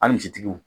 Hali jitigiw